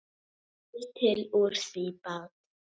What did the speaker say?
Býr til úr því bát.